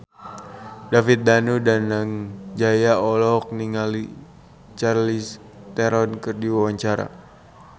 David Danu Danangjaya olohok ningali Charlize Theron keur diwawancara